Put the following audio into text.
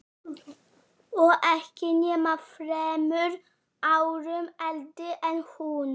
Og ekki nema þremur árum eldri en hún.